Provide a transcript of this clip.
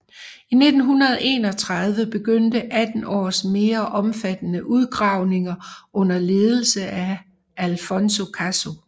I 1931 begyndte 18 års mere omfattende udgravninger under ledelse af Alfonso Caso